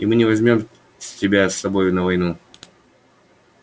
и мы не возьмём тебя с собой на войну